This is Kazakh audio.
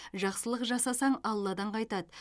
жақсылық жасасаң алладан қайтады